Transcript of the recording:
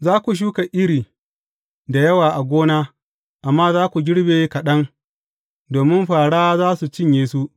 Za ku shuka iri da yawa a gona, amma za ku girbe kaɗan, domin fāra za su cinye su.